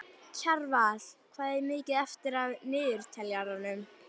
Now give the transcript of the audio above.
Kjarval, hvað er mikið eftir af niðurteljaranum?